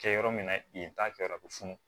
Kɛ yɔrɔ min na yen ta kɛyɔrɔ bɛ funu